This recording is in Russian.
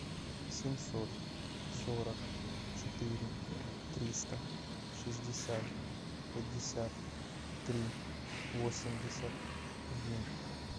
семьсот сорок четыре триста шестьдесят пятьдесят три восемьдесят один